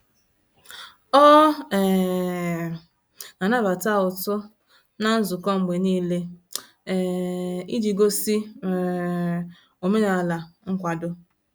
Ọ um na-anabata ụtụ na nzukọ mgbe n'ile, um iji gosi um omenala nkwado